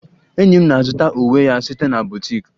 Enyi m na-azụta uwe ya site na boutique